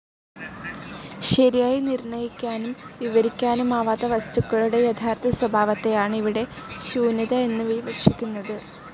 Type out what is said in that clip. ശരിയായി നിർ‌ണ്ണയിക്കാനും വിവരിക്കാനും ആവാത്ത, വസ്ത്തുക്കളുടെ യഥാർത്ഥ സ്വഭാവത്തെയാണ് ഇവിടെ ശൂന്യത എന്നു വിവക്ഷിക്കുന്നത്.